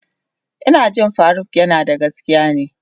Ina ji faruk yanada gaskiya ne.